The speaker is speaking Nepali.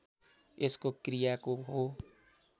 यसको क्रियाको हो